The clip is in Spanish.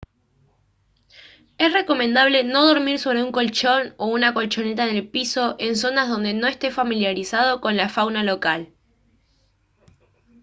es recomendable no dormir sobre un colchón o una colchoneta en el piso en zonas donde no esté familiarizado con la fauna local